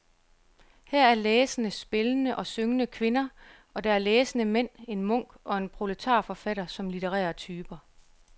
Her er læsende, spillende og syngende kvinder, og der er læsende mænd, en munk og en proletarforfatter som litterære typer.